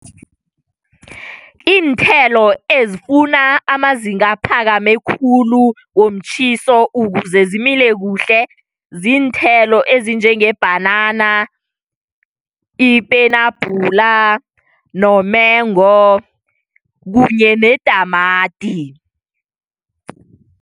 Iinthelo ezifuna amazinga aphakame khulu womtjhiso ukuze zimile kuhle ziinthelo ezinjengebhanana, ipenabhula nomengo kunye netamati.